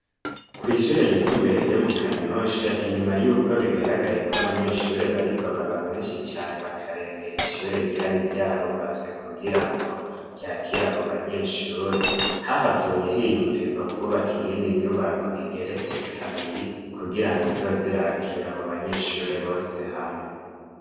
Ku ishuri ryisumbuye ryo mu kanyosha inyuma yuko bigaragaye yuko abanyeshuri bariko baba beshi cane bakerengera ishuri ryari ryarubatswe kugirango ryakire abo banyeshuri hahavuye himvurwa kubaka iyindi nyubako igeretse kabiri ku girango izoze irakira abo banyeshuri bose hamwe.